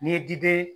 N'i ye d